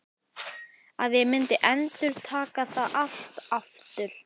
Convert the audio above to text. Að ég myndi endurtaka það allt aftur?